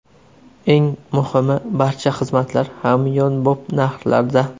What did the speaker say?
Eng muhimi, barcha xizmatlar hamyonbop narxlarda!